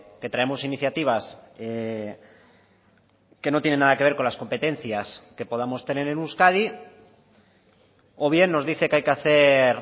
que traemos iniciativas que no tienen nada que ver con las competencias que podamos tener en euskadi o bien nos dice que hay que hacer